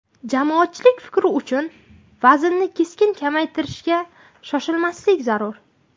Jamoatchilik fikri uchun vaznni keskin kamaytirishga shoshmaslik zarur.